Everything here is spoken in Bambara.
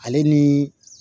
Ale ni